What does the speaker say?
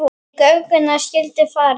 Í gönguna skyldi farið.